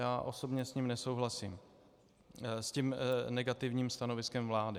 Já osobně s ním nesouhlasím, s tímto negativním stanoviskem vlády.